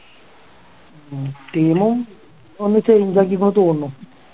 team ഉം ഒന്ന് change ആക്കിന്നാ തോന്നുന്നു